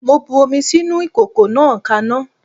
Mo bu omi sínú ìkòkò náà kaná.